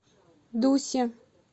дусе